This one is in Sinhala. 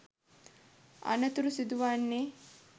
අනතුරු සිදුවන්නේ